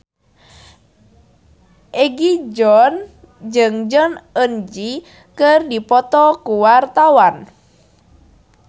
Egi John jeung Jong Eun Ji keur dipoto ku wartawan